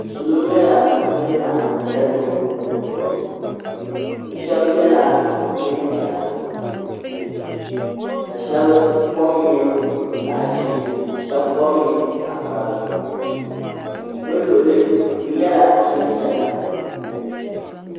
Salo nyɛla ban laɣim zaya gbubi kundinima shɛba yela neem'piɛla ka shɛba kom nyɛ zaɣ'ʒee ka shɛba kom nyɛ zaɣ'sabila bɛ luɣili tia nyɛla din zaya.